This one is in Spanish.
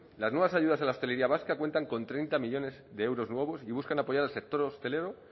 las nuevas ayudas a la hostelería vasca cuentan con treinta millónes de euros nuevos y buscan apoyar al sector hostelero